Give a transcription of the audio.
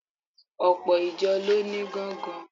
Ọ̀pọ̀ ìjọ ló ní gángan.